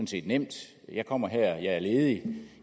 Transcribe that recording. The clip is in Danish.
set nemt jeg kommer her jeg er ledig og